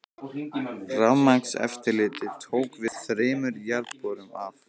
Rafmagnseftirlitið tók við þremur jarðborum af